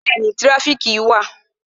Bẹẹni, tirafiki wà